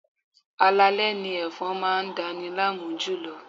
Alaalẹ́ ni ẹ̀fọn máa dani láàmú jùlọ.